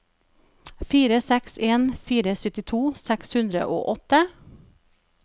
fire seks en fire syttito seks hundre og åtte